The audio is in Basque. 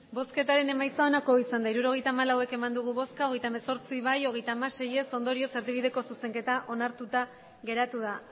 emandako botoak hirurogeita hamalau bai hogeita hemezortzi ez hogeita hamasei ondorioz erdibideko zuzenketa onartuta geratu da